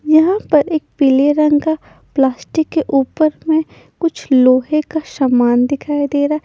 यहां पर एक पीले रंग का प्लास्टिक के ऊपर में कुछ लोहे का शमान दिखाई दे रहा है।